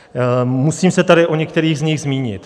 Musím se tady o některých z nich zmínit.